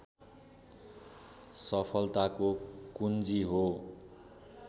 सफलताको कुञ्जी हो